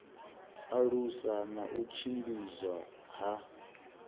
alusa na u tshimbidzwa ha